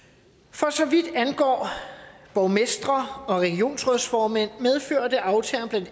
for så vidt angår borgmestre og regionsrådsformænd medførte aftalerne